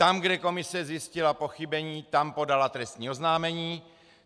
Tam, kde komise zjistila pochybení, tam podala trestní oznámení.